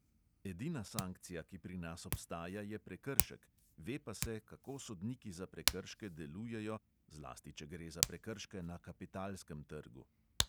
Edina sankcija, ki pri nas obstaja, je prekršek, ve pa se, kako sodniki za prekrške delujejo, zlasti če gre za prekrške na kapitalskem trgu.